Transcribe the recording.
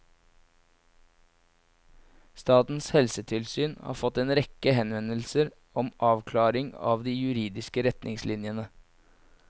Statens helsetilsyn har fått en rekke henvendelser om avklaring av de juridiske retningslinjene.